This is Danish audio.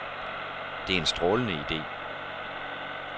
Det er en strålende ide.